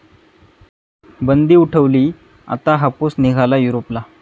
बंदी उठवली, आता हापूस निघाला युरोपला!